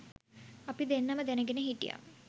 අපි දෙන්නම දැනගෙන හිටියා.